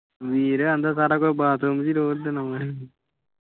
ਵੀਰ ਕਹਿੰਦਾ ਸਾਰਾ ਕੁਝ ਬਾਥਰੂਮ ਚ ਰੋੜ੍ਹ ਆਉਂਦਾ ਸੀ।